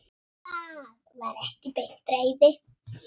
Það var ekki beint reiði.